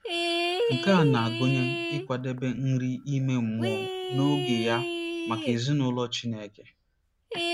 Nke a na-agụnye ịkwadebe nri ime mmụọ n'oge ya maka ezinụlọ Chineke.